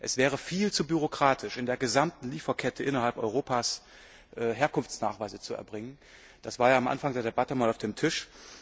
Es wäre viel zu bürokratisch, in der gesamten Lieferkette innerhalb Europas Herkunftsnachweise zu erbringen. Das war ja am Anfang der Debatte mal auf dem Tisch.